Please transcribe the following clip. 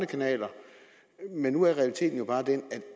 kanaler men nu er realiteten jo bare den at